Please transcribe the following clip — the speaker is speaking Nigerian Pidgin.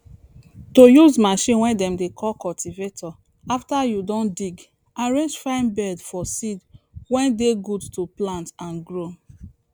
to use machine way dem dey call cultivator after you don dig arrange fine bed for seed way dey good to plant and grow